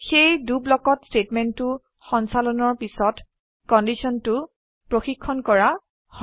সেয়ে দ ব্লকত স্টেটমেন্টটো সঞ্চালনৰ পিছত কন্ডিশনটো প্ৰখিক্ষন কৰা হয়